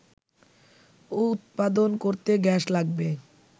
উৎপাদন করতে গ্যাস লাগবে